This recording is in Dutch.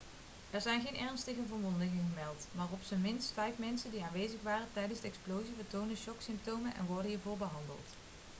er zijn geen ernstige verwondingen gemeld maar op zijn minst vijf mensen die aanwezig waren tijdens de explosie vertonen shocksymptomen en worden hiervoor behandeld